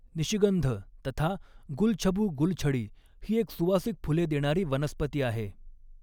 निशिगंध तथा गुलछबू गुलछडी ही एक सुवासिक फुले देणारी वनस्पती आहे.